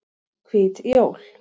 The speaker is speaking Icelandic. Hvít jól